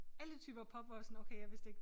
Alle typer pop hvor jeg var sådan okay jeg vidste ikke